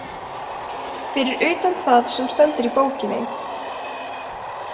Fyrir utan það sem stendur í bókinni.